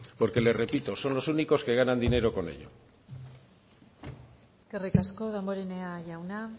porque le repito son los únicos que ganan dinero con ello eskerrik asko damborenea jauna